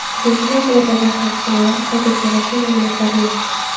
Zilzila oqibatlari haqida hozircha rasmiy ma’lumotlar yo‘q.